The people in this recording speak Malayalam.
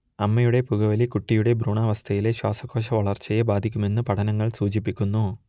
അമ്മയുടെ പുകവലി കുട്ടിയുടെ ഭ്രൂണാവസ്ഥയിലെ ശ്വാസകോശവളർച്ചയെ ബാധിക്കുമെന്ന് പഠനങ്ങൾ സൂചിപ്പിക്കുന്നു